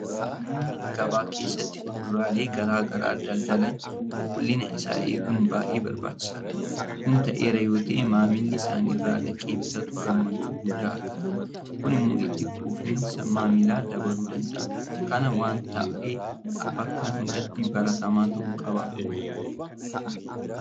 Namoonni gabaa keessatti Kuduraalee garaa garaa daldalan qulqullina isaa eeguun baay'ee barbaachisaadha. Kun ta'eera yoota'e maamilli isaan irraa dhaqee bitatu gammachuu guddaa argata. Kun immoo itti quufinsa maamilaa dabaluu danda'a. Kana waanta ta'een bakka hundatti baratamaa ta'uu qaba.